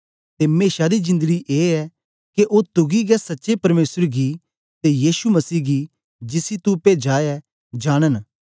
ते मेशा दी जिंदड़ी ए ऐ के ओ तुकी गै सच्चे परमेसर गी ते यीशु मसीह गी जिसी तो पेजा ऐ जांनन